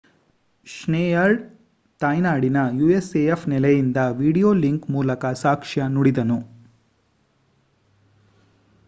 Schneider ತಾಯ್ನಾಡಿನ usaf ನೆಲೆಯಿಂದ video link ಮೂಲಕ ಸಾಕ್ಷ್ಯ ನುಡಿದನು